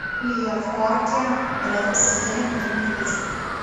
в парке рядом с отелем покормить уточек